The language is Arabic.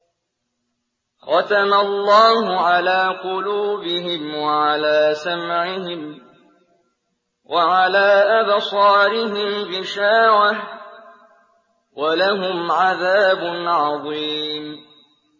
خَتَمَ اللَّهُ عَلَىٰ قُلُوبِهِمْ وَعَلَىٰ سَمْعِهِمْ ۖ وَعَلَىٰ أَبْصَارِهِمْ غِشَاوَةٌ ۖ وَلَهُمْ عَذَابٌ عَظِيمٌ